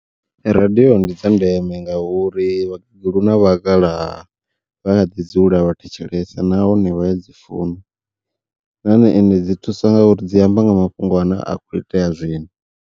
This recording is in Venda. Radiyo ndi dza ndeme ngauri vhakegulu na vhakalaha vha kha ḓi dzula vhathetshelese nahone vhaya dzi funa nahone ende dzi thusa ngauri dzi amba nga mafhungo ane a khou itea zwino.